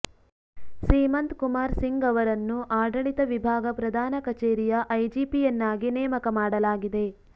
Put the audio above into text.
ಸೀಮಂತ್ ಕುಮಾರ್ ಸಿಂಗ್ ಅವರನ್ನು ಆಡಳಿತ ವಿಭಾಗ ಪ್ರಧಾನ ಕಚೇರಿಯ ಐಜಿಪಿಯನ್ನಾಗಿ ನೇಮಕ ಮಾಡಲಾಗಿದೆ